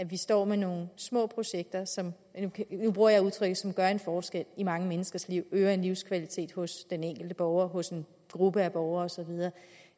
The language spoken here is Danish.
vi står med nogle små projekter som nu bruger jeg udtrykket gør en forskel i mange menneskers liv øger en livskvalitet hos den enkelte borger hos en gruppe af borgere og så videre